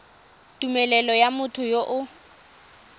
tumelelo ya motho yo o